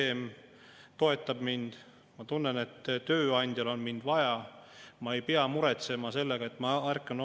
Sellist hulka inimesi, kes räägivad erinevatel istumistel sellest, et nad otsivad omale kohta kas Hispaaniasse, Soome või Saksamaale,, mina oma eluaja jooksul ei mäleta.